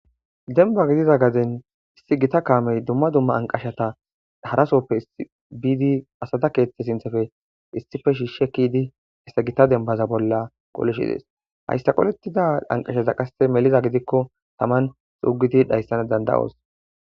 Denba gidiza gaden issi gita kaamey dumma dumma anqashata harasoppe biidi asata keethethe sinthefe issife shiishshe kidi issa gita denbaza bolla qolishi dees hayssaqolettida anqashaza qasse meliza gidikko taman xuugidi dhayssana danda7oos.